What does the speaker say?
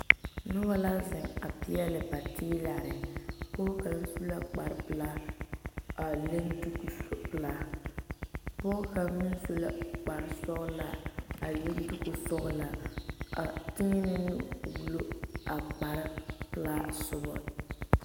Nobɔ la zeŋ a peɛle ba teelarre pɔɔ kaŋ su la kpare pelaa a leŋ duku pelaa pɔɔ kaŋ meŋ su la kpare sɔglaa a leŋ duku sɔglaa a teɛnɛ nu wullo a kpare pelaa sobɔ.